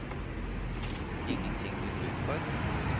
Ingenting du gruer for?